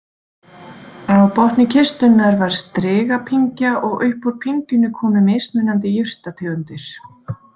Á botni kistunnar var strigapyngja og upp úr pyngjunni komu mismunandi jurtategundir.